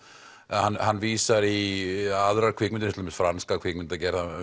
hann vísar í aðrar kvikmyndir til dæmis franska kvikmyndagerð hann